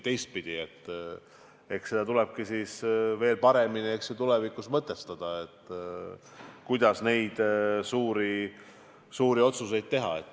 Eks tulebki tulevikus paremini läbi mõelda, kuidas neid suuri otsuseid teha.